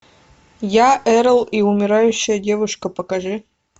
я эрл и умирающая девушка покажи